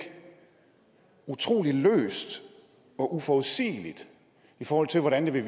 utrolig løst og uforudsigeligt i forhold til hvordan det vil